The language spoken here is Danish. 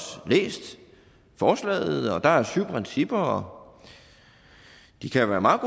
læst forslaget og der er syv principper og de kan da være meget